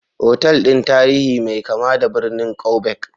Otal ɗin tarihi mai kama da birnin Quebec.